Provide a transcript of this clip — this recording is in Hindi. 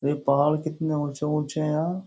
ये पहाड़ कितने ऊंचे ऊंचे हैं यार।